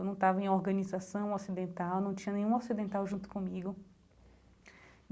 Eu não estava em organização ocidental, eu não tinha nenhum ocidental junto comigo.